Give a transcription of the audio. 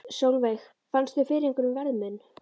Sólveig: Fannstu fyrir einhverjum verðmun?